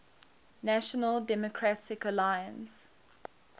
national democratic alliance